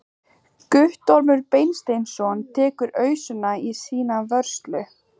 Guttormur Beinteinsson tekur ausuna í sína vörslu.